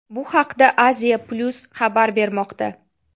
Bu haqda Asia Plus xabar bermoqda .